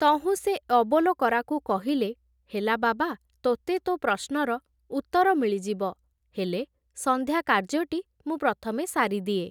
ତହୁଁ ସେ ଅବୋଲକରାକୁ କହିଲେ, ହେଲା ବାବା, ତୋତେ ତୋ ପ୍ରଶ୍ନର ଉତ୍ତର ମିଳିଯିବ, ହେଲେ ସଂନ୍ଧ୍ୟା କାର୍ଯ୍ୟଟି ମୁଁ ପ୍ରଥମେ ସାରିଦିଏ।